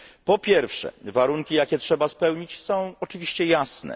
Po pierwsze, warunki jakie trzeba spełnić, są oczywiście jasne.